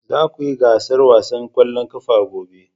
Za ku yi gasar wasan kwallon kafa gobe